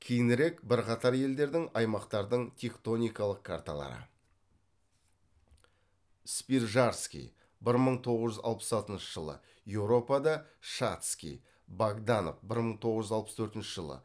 кейінірек бірқатар елдердің аймақтардың тектоникалық карталары спижарский бір мың тоғыз жүз алпыс алтыншы жылы еуропада шатский богданов бір мың тоғыз жүз алпыс төртінші жылы